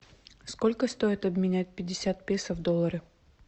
сколько стоит обменять пятьдесят песо в доллары